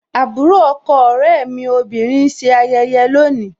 Àbúrò ọkọ ọ̀rẹ́ mi obìnrin ń ṣe ayẹyẹ le ni.